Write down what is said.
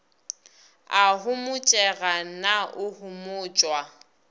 a homotšega na o homotšwa